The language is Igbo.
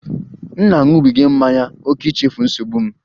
M na-aṅụbiga mmanya ókè ichefu nsogbu m